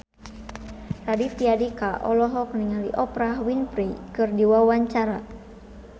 Raditya Dika olohok ningali Oprah Winfrey keur diwawancara